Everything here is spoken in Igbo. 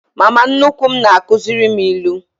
Mama nnukwu m na-akuziri m ilu.